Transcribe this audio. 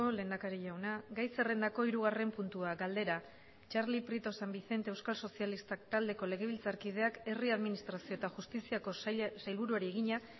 lehendakari jauna gai zerrendako hirugarren puntua galdera txarli prieto san vicente euskal sozialistak taldeko legebiltzarkideak herri administrazio eta justiziako sailburuari egina